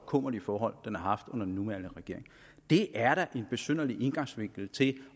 kummerlige forhold den har haft under den nuværende regering det er da en besynderlig indgangsvinkel til